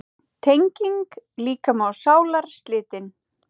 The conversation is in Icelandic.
Tenging líkama og sálar slitin.